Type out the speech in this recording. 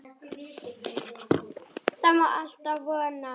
Það má alltaf vona.